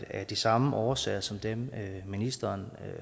af de samme årsager som dem ministeren